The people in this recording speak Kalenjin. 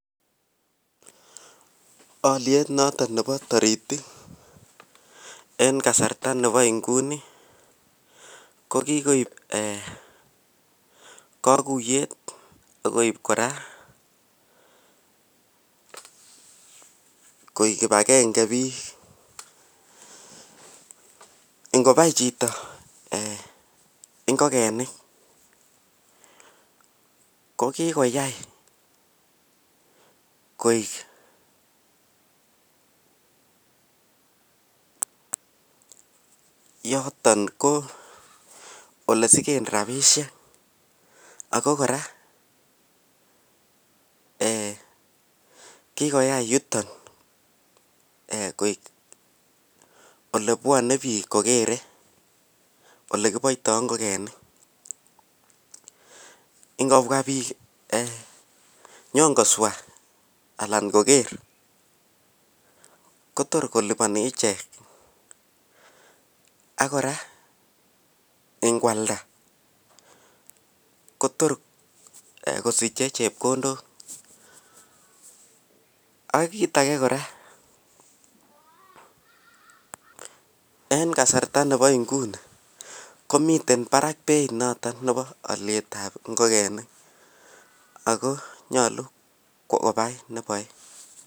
olyeet noton nebo toritik en kasarta nebo inguni ko kigoib eeh koguyeet koib koraa koek kibagenge biik, ngobai chito eeh ngogenik kokigoyaai koek yoton ko elesigeen rabishek ago koraa [um}eeh kigoyai yuton koek olebwone biik kogere elekiboitoo ngogenik., ngobwa biik nnyon koswa anan kogeer kotor koliboni ichek ak koraa ngwalda kotor kosiche chepkondook, ak kiit age koraa en kasarta nebo nguni komiten baraak beit noton nebo olyeet ab ngogenik ago nyolu kobaai neboe